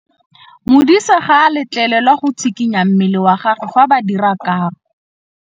Modise ga a letlelelwa go tshikinya mmele wa gagwe fa ba dira karô.